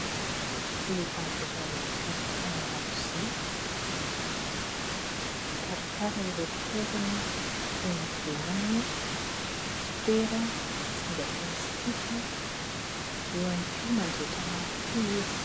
Vehivavy iray mikarakara lakozia, mikarakara ireo fitaovana toy ny : vilany, sopera, zinga plastika. Eo ihany koa, mandrehitra afo koa izy.